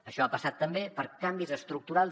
això ha passat també per canvis estructurals